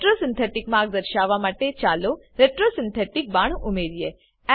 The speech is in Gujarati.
retro સિન્થેટિક માર્ગ દર્શાવવા માટે ચાલો retro સિન્થેટિક બાણ ઉમેરીએ